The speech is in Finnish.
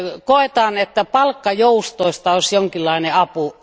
Koetaan, että palkkajoustoista olisi jonkinlainen apu.